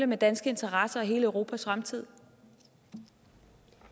med danske interesser og hele europas fremtid